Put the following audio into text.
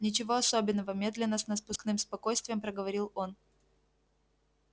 ничего особенного медленно с напускным спокойствием проговорил он